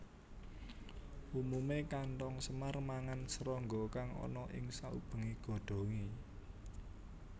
Umumé kanthong semar mangan srangga kang ana ing saubengé godhongé